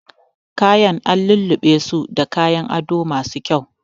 Kayan an lulluɓesu da kayan ado masu kyau